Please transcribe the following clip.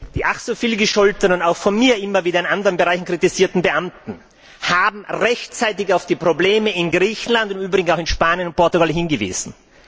Die ach so viel gescholtenen auch von mir immer wieder in anderen Bereichen kritisierten Beamten haben rechtzeitig auf die Probleme in Griechenland, im Übrigen auch in Spanien und Portugal, hingewiesen.